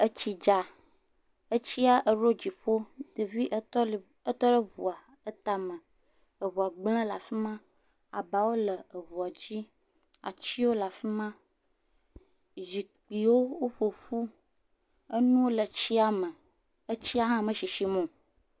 Etsi dza, etsi eɖo dziƒo, ɖevi etɔleo etɔ ɖe eŋua tame, eŋua gblẽ ɖe afi ma abawo le eŋua dzi atiwo le afi ma zikpuiwo wo ƒoƒu nuwo le tsi me, tsia hã me sisim o.